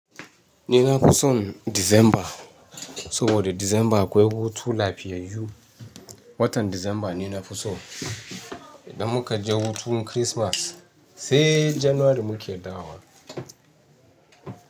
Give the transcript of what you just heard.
Nina fison Disamba. Saboda Disamba akwai hutu lafiyayyu. Watan Disamba ne na fiso. Idan muka je hutun Kirismas sai Janwari mu kedawo.